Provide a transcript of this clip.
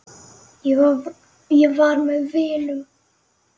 Ég var með vinum.